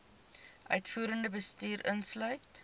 uitvoerende bestuur insluit